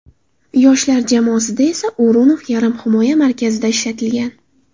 Yoshlar jamoasida esa O‘runov yarim himoya markazida ishlatilgan.